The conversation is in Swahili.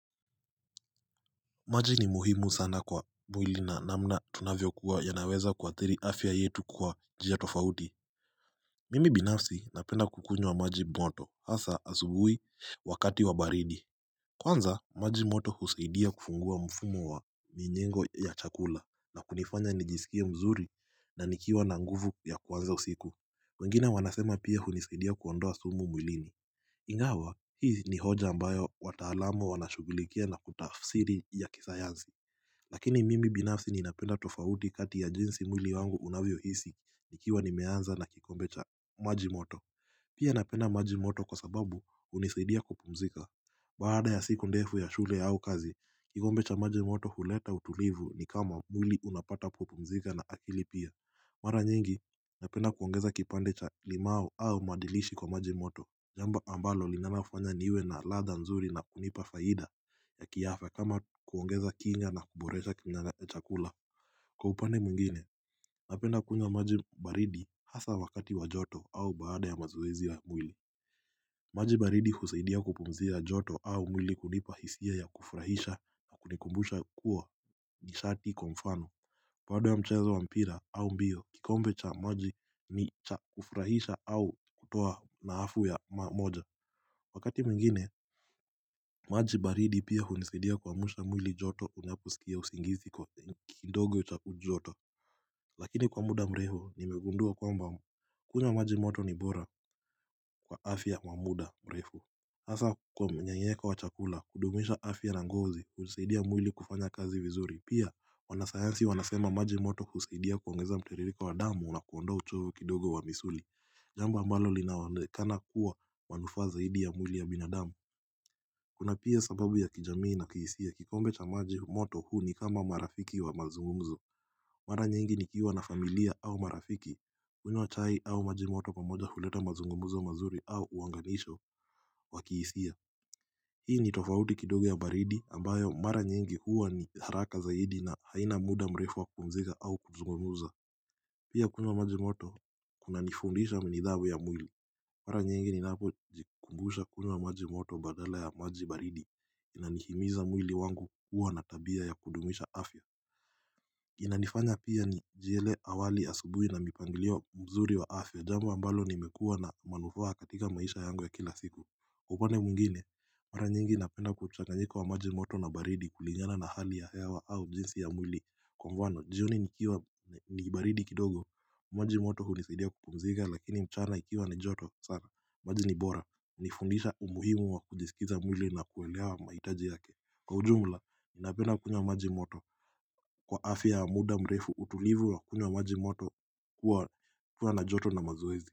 Maji ni muhimu sana kwa mwili na namna tunavyo kuwa ya naweza kuathiri afya yetu kwa njia tofauti Mimi binafsi napenda kukunywa wa maji moto hasa asubuhi wakati wa baridi Kwanza maji moto husaidia kufungua mfumo wa mienengo ya chakula na kunifanya nijisikie mzuri na nikiwa na nguvu ya kuanza usiku wengine wanasema pia hunisaidia kuondoa sumu mwilini Ingawa hii ni hoja ambayo wataalamu wanashughulikia na kutafsiri ya kisayansi Lakini mimi binafsi ninapenda tofauti kati ya jinsi mwili wangu unavyohisi nikiwa nimeanza na kikombe cha maji moto Pia napenda maji moto kwa sababu hunisaidia kupumzika Baada ya siku ndefu ya shule au kazi, kikombe cha maji moto huleta utulivu ni kama mwili unapata kupumzika na akili pia Mara nyingi napenda kuongeza kipande cha limau au madilishi kwa maji moto Jambo ambalo linanafanya niwe na ladha nzuri na kunipa faida ya kiafya kama kuongeza kinga na kuboresha kimnana ya chakula Kwa upanne mwingine, napenda kunywa maji baridi hasa wakati wa joto au baada ya mazoezi ya mwili maji baridi husaidia kupumzisha joto au mwili kunipa hisia ya kufurahisha na kunikumbusha kuwa nishati kwa mfano Baada ya mchezo wa mpira au mbio kikombe cha maji ni cha kufurahisha au kutoa na hafu ya ma moja Wakati mwingine, maji baridi pia hunisaidia kwa mwili joto unaposikia usingizi kwa kidogo chakujoto Lakini kwa muda mrefu, nimegundua kwamba kunywa maji moto ni bora kwa afya wa muda mrefu hasa kwa mnyenyeko wachakula, kudumisha afya na ngozi, hunisaidia mwili kufanya kazi vizuri Pia, wanasayansi wanasema maji moto husaidia kuongeza mtiririko wa damu na kuondoa uchoyo kidogo wa misuli Jambo ambalo linaonekana kuwa wa nufaa zaidi ya mwili ya binadamu Kuna pia sababu ya kijamii na kihisia kikombe cha maji moto huu ni kama marafiki wa mazungumuzo Mara nyingi ni kiwa na familia au marafiki kunywa chai au maji moto pamoja huleta mazungumzo mazuri au uunganisho wa kihisia Hii ni tofauti kidogo ya baridi ambayo mara nyingi huwa ni haraka zaidi na haina muda mrefu wa kupumzika au kuzungumuza Pia kunywa maji moto kuna nifundisha nidhamu ya mwili Mara nyingi ni napo jikumbusha kunywa maji moto badala ya maji baridi inanihimiza mwili wangu kuwa natabia ya kudumisha afya. Inanifanya pia nijiele awali asubuhi na mipanglio mzuri wa afya. Jamu ambalo limekuwa na manufaa katika maisha yangu ya kila siku. Kwa upande mwingine, mara nyingi napenda mchanganyiko wa maji moto na baridi kulingana na hali ya hewa au jinsi ya mwili. Kwa mfano, jioni ni baridi kidogo, maji moto hunisaidia kupumzika lakini mchana ikiwa ni joto sana. Maji ni bora. Nifundisha umuhimu wa kujisikiza mwili na kuelewa mahitaji yake. Kwa ujumla, ninapenda kunywa maji moto. Kwa afya ya muda mrefu utulivu wa kunywa maji moto kuwa na joto na mazoezi.